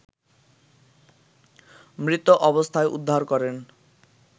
মৃত অবস্থায় উদ্ধার করেন